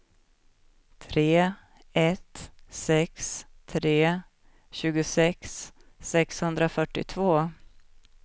tre ett sex tre tjugosex sexhundrafyrtiotvå